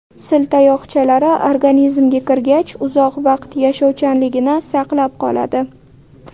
Sil tayoqchalari organizmga kirgach, uzoq vaqt yashovchanligini saqlab qoladi.